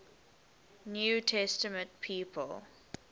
new testament people